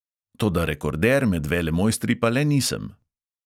Toda rekorder med velemojstri pa le nisem!